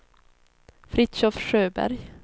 Fritiof Sjöberg